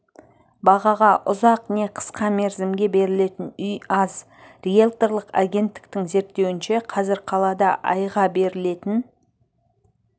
бағаға ұзақ не қысқа мерзімге берілетін үй аз риэлторлық агенттіктің зерттеуінше қазір қалада айға берілетін